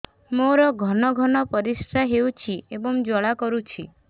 ମୋର ଘନ ଘନ ପରିଶ୍ରା ହେଉଛି ଏବଂ ଜ୍ୱାଳା କରୁଛି